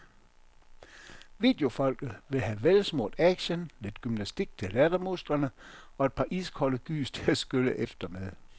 Videofolket vil have velsmurt action, lidt gymnastik til lattermusklerne og et par iskolde gys til at skylle efter med.